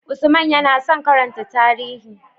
Usman yana son karanta tarihi.